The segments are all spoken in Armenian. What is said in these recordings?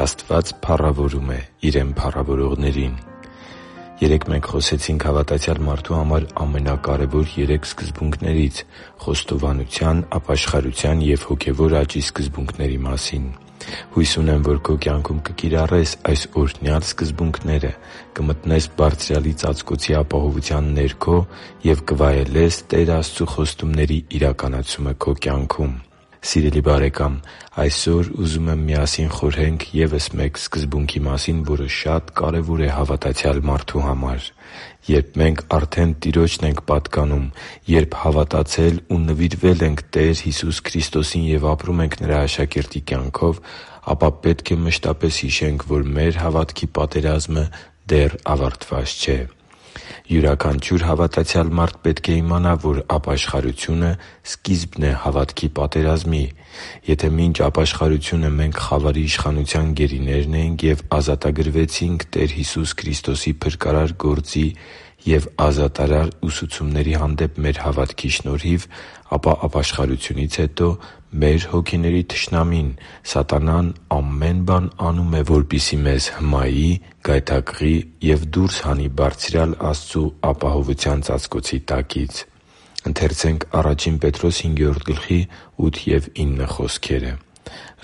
Աստված փառավորում է Իրեն փառավորողներին Երեկ մենք խոսեցինք հավատացյալ մարդու համար ամենակարևոր երեք սկզբունքներից՝ խոստովանության, ապաշխարության և հոգևոր աճի սկզբունքների մասին։ Հույս ունեմ, որ քո կյանքում կկիրառես այս օրհնյալ սկզբունքները, կմտնես Բարձրյալի ծածկոցի ապահովության ներքո և կվայելես Տեր Աստծու խոստումների իրականացումը քո կյանքում։ Սիրելի՛ բարեկամ, այսօր ուզում եմ միասին խորհենք ևս մեկ սկզբունքի մասին, որը շատ կարևոր է հավատացյալ մարդու համար։ Երբ մենք արդեն Տիրոջն ենք պատկանում, երբ հավատացել ու նվիրվել ենք Տեր Հիսուս Քրիստոսին և ապրում ենք Նրա աշակերտի կյանքով, պետք է մշտապես հիշենք, որ մեր հավատքի պատերազմը դեռ ավարտված չէ։ Յուրաքանչյուր հավատացյալ մարդ պետք է իմանա, որ ապաշխարությունը սկիզբն է հավատքի պատերազմի։ Եթե մինչ ապաշխարությունը մենք խավարի իշխանության գերիներն էինք և ազատագրվեցինք Տեր Հիսուս Քրիստոսի փրկարար գործի և ազատարար ուսուցումների հանդեպ մեր հավատքի շնորհիվ, ապա ապաշխարությունից հետո մեր հոգիների թշնամին՝ սատանան, ամեն բան անում է, որ մեզ հմայի, գայթակղի և դուրս հանի Բարձրյալ Աստծու ապահովության ծածկոցի տակից։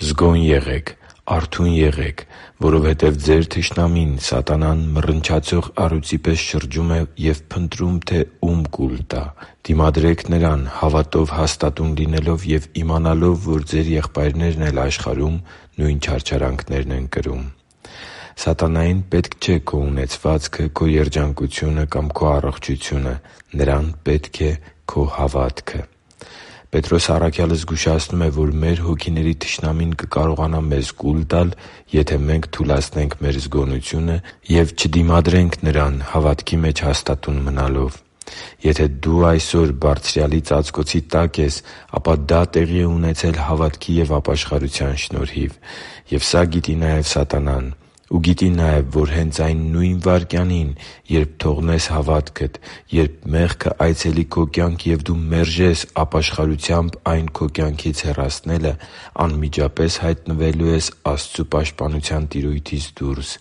«Զգո՛ն եղեք, արթո՛ւն եղեք, որովհետև ձեր թշնամին՝ սատանան, մռնչացող առյուծի պես շրջում է և փնտրում, թե ո՛ւմ կուլ տա։ Դիմադրե՛ք նրան՝ հավատով հաստատուն լինելով և իմանալով, որ ձեր եղբայրներն էլ աշխարհում նույն չարչարանքներն են կրում» (Ա Պետրոս 5․8-9): Սատանային պետք չէ քո ունեցվածքը, քո երջանկությունը կամ քո առողջությունը։ Նրան պետք է քո հավատքը։ Պետրոս առաքյալը զգուշացնում է, որ մեր հոգիների թշնամին կկարողանա մեզ կուլ տալ, եթե մենք թուլացնենք մեր զգոնությունը և չդիմադրենք նրան՝ հավատքի մեջ հաստատուն մնալով։ Եթե դու այսօր Բարձրյալի ծածկոցի տակ ես, ապա դա տեղի է ունեցել հավատքի և ապաշխարության շնորհիվ։ Եվ սա գիտի նաև սատանան։ Ու գիտի նաև, որ հենց այն նո՛ւյն վայրկյանին, երբ թողնես հավատքդ, երբ մեղքը այցելի քո կյանք, և դու մերժես ապաշխարությամբ այն քո կյանքից հեռացնելը, անմիջապես հայտնվելու ես Աստծու պաշտպանության տիրույթից դուրս՝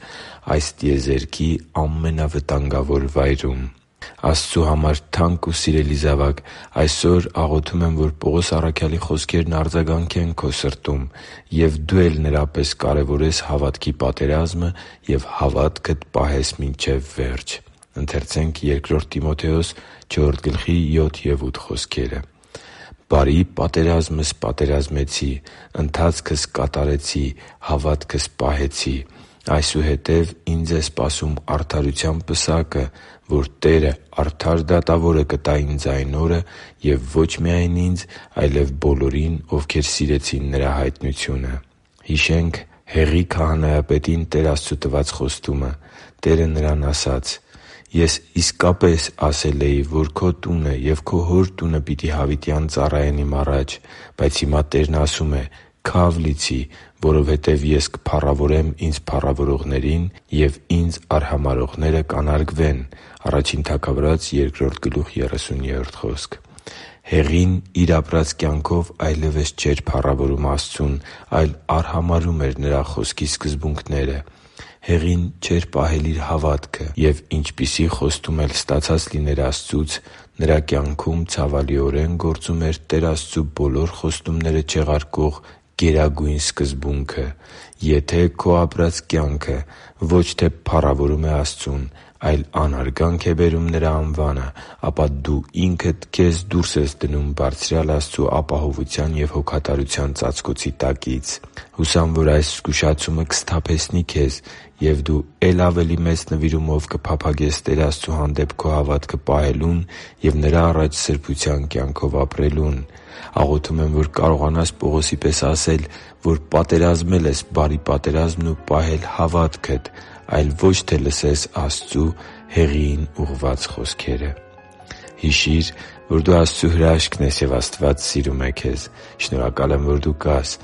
այս տիեզերքի ամենավտանգավոր վայրում։ Աստծու համար թանկ ու սիրելի՛ զավակ, այսօր աղոթում եմ, որ Պողոս առաքյալի խոսքերն արձագանքեն քո սրտում, և դու էլ նրա պես կարևորես հավատքի պատերազմը և հավատքդ պահես մինչև վերջ․ «Բարի պատերազմ մղեցի, ընթացքը ավարտեցի, հավատը պահեցի։ Այսուհետև ինձ է սպասում արդարության պսակը, որ Տերը՝ արդար դատավորը, կտա ինձ այն օրը. և ոչ միայն ինձ, այլև բոլորին, ովքեր սիրեցին Նրա հայտնությունը» (Բ Տիմոթեոս 4․7-8): Հիշե՛նք Հեղի քահանայապետին Տեր Աստծու տված խոստումը։ Տերը նրան ասաց․ «Ես իսկապես ասել էի, որ քո տունը և քո հոր տունը պիտի հավիտյան ծառայեն Իմ առաջ», բայց հիմա Տերն ասում է. «Քա՛վ լիցի, որովհետև Ես կփառավորեմ Ինձ փառավորողներին, և Ինձ արհամարհողները կանարգվեն» (Ա Թագավորաց 2․30): Հեղին իր ապրած կյանքով այլևս չէր փառավորում Աստծուն, այլ արհամարհում էր Նրա Խոսքի սկզբունքները։ Հեղին չէր պահել իր հավատքը։ Եվ ինչպիսի խոստում էլ ստացած լիներ Աստծուց, նրա կյանքում ցավալիորեն գործում էր Տեր Աստծու բոլոր խոստումները չեղարկող գերագույն սկզբունքը՝ եթե քո ապրած կյանքը ոչ թե փառավորում է Աստծուն, այլ անարգանք բերում Նրա անվանը, ապա դու ինքդ քեզ դուրս ես դնում Բարձրյալ Աստծու ապահովության և հոգատարության ծածկոցի տակից։ Հուսամ, որ այս զգուշացումը կսթափեցնի քեզ, և դու է՛լ ավելի մեծ նվիրումով կփափագես Տեր Աստծու հանդեպ քո հավատքը պահելուն և Նրա առաջ սրբության կյանքով ապրելուն։ Աղոթում եմ, որ կարողանաս Պողոսի պես ասել, որ պատերազմել ես բարի պատերազմն ու պահել ես հավատքդ, այլ ոչ թե լսես Աստծու՝ Հեղիին ուղղված խոսքերը․․․ Հիշի՛ր, որ դու Աստծո հրաշքն ես, և Աստված սիրում է քեզ։ Շնորհակալ եմ, որ դու կա՛ս